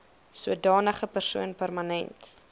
sodanige persoon permanent